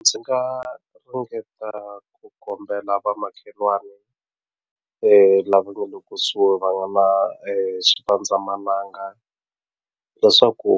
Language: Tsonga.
Ndzi nga ringeta ku kombela vamakhelwani lava nga le kusuhi va nga na swipandzamananga leswaku